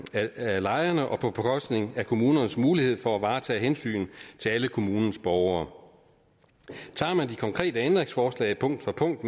af lejerne og på bekostning af kommunernes mulighed for at varetage hensyn til alle kommunens borgere tager man de konkrete ændringsforslag punkt for punkt